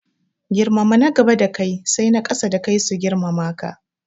Girmama na gaba da kai sai na ƙasa da kai su girmama ka